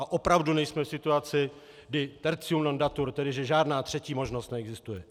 A opravdu nejsme v situaci, kdy tertium non datur, tedy že žádná třetí možnost neexistuje.